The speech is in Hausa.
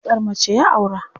Baƙar mace ya aura.